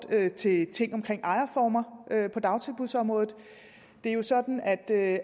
til ting omkring ejerformer på dagtilbudsområdet det er jo sådan at